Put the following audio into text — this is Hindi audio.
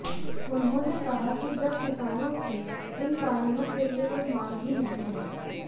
उन्होंने कहा कि जब किसानों की इन कानूनों के लिए कोई मांग ही नहीं हैं